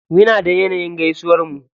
Muna da yanayin gaisuwar mu.